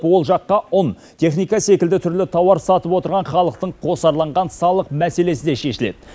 ол жаққа ұн техника секілді түрлі тауар сатып отырған халықтың қосарланған салық мәселесі де шешіледі